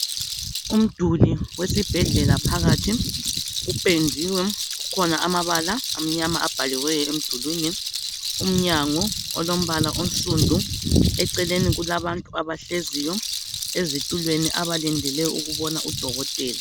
Umduli wesibhedlela phakathi, uphendiwe kukhona amabala amnyama abhaliweyo emdulwini. Umnyango olombala onsundu, eceleni kulabantu abahleziyo ezitulweni abalindele ukubona udokotela.